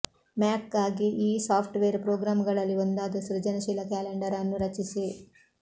ಮ್ಯಾಕ್ಗಾಗಿ ಈ ಸಾಫ್ಟ್ವೇರ್ ಪ್ರೊಗ್ರಾಮ್ಗಳಲ್ಲಿ ಒಂದಾದ ಸೃಜನಶೀಲ ಕ್ಯಾಲೆಂಡರ್ ಅನ್ನು ರಚಿಸಿ